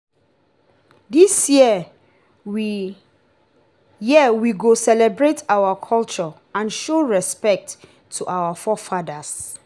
this year we year we go celebrate our culture and show respect to our forefathers.